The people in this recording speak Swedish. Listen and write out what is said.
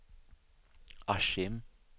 Askim